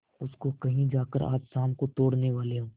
उसको कहीं जाकर आज शाम को तोड़ने वाले हों